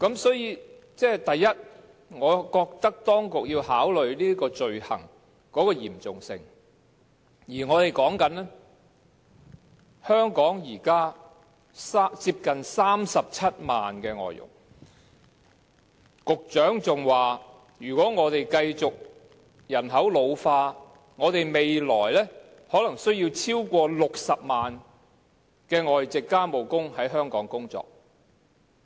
所以，第一，我覺得當局要考慮罪行的嚴重性，而香港現時有接近37萬名外籍家庭傭工，局長還說如果本港人口繼續老化，未來可能需要超過60萬名外傭在香港工作。